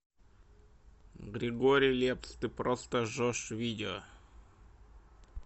григорий лепс ты просто жжешь видео